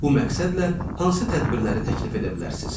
Bu məqsədlə hansı tədbirləri təklif edə bilərsiz?